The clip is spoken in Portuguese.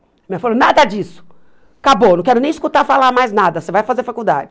Minha mãe falou, nada disso, acabou, não quero nem escutar falar mais nada, você vai fazer faculdade.